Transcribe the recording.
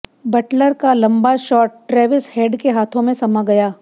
Buttler का लंबा shot Travis Head के हाथों में समा गया